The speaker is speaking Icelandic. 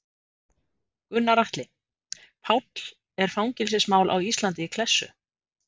Gunnar Atli: Páll er fangelsismál á Íslandi í klessu?